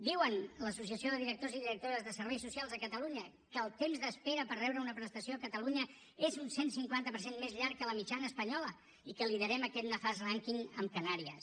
diuen l’associació de directors i directores de serveis socials a catalunya que el temps d’espera per rebre una prestació a catalunya és un cent i cinquanta per cent més llarg que la mitjana espanyola i que liderem aquest nefast rànquing amb canàries